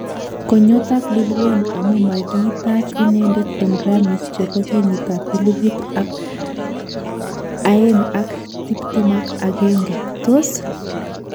Ko nyotak Lil Wayne amu magitaach inendet eng Grammys chebo kenyit ab elibu aeng ak tiptem ak agenge: tos!